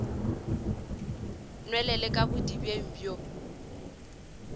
nwelele ka mo bodibeng bjo